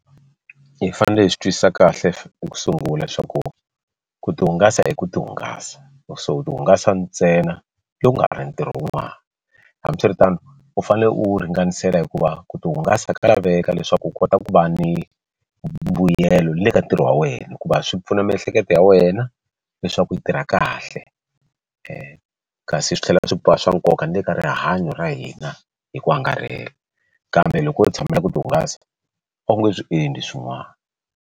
Hi fanele hi swi twisisa kahle ku sungula swa ku ku ti hungasa hi ku ti hungasa loko se u ti hungasa ntsena loko ku nga ri ntirho wun'wana hambiswiritano u fanele u ringanisela hikuva ku tihungasa ka laveka leswaku u kota ku va ni mbuyelo le ka ntirho wa wena hikuva swi pfuna miehleketo ya wena leswaku yi tirha kahle kasi swi tlhela swi va swa nkoka ni le ka rihanyo ra hina hi ku angarhela kambe loko u tshamela ku ti hungasa a wu nge swi endli swin'wana.